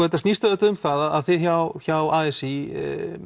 þetta snýst auðvitað um það að þið hjá hjá a s í